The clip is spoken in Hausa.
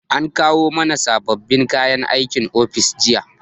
An kawo mana sababbin kayan aikin ofis jiya